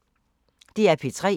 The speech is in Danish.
DR P3